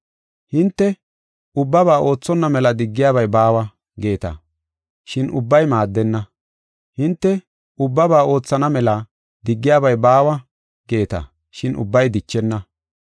Hinte, “Ubbabaa oothonna mela diggiyabay baawa” geeta, shin ubbay maaddenna. Hinte, “Ubbabaa oothonna mela diggiyabay baawa” geeta, shin ubbay dichenna.